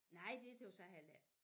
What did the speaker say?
Nej det tøgges jeg heller ikke